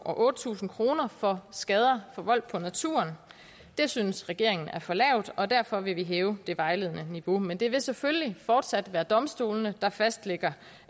og otte tusind kroner for skader forvoldt på naturen det synes regeringen er for lavt og derfor vil vi hæve det vejledende niveau men det vil selvfølgelig fortsat være domstolene der fastlægger